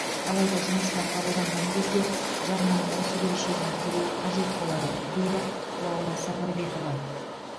алайда жұмысқа қабылданған кезде жарнаның осы берешегін төлеу қажет болады дейді лаура сапарбекова